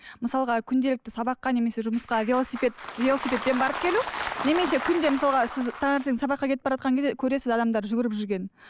мысалға күнделікті сабаққа немесе жұмысқа велосипед велосипедпен барып келу немесе күнде мысалға сіз таңертең сабаққа кетіп баратқан кезде көресіз адамдардың жүгіріп жүргенін